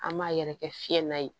An m'a yɛrɛkɛ fiɲɛ na ye